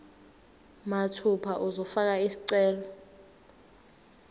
mathupha uzofaka isicelo